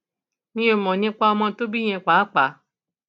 mi ò mọ nípa ọmọ tó bí yẹn pàápàá